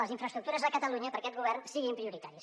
les infraestructures a catalunya per a aquest govern siguin prioritàries